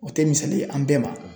O tɛ misali ye an bɛɛ ma